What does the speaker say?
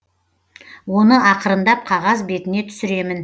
оны ақырындап қағаз бетіне түсіремін